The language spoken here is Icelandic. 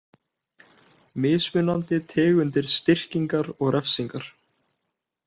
Mismunandi tegundir styrkingar og refsingar.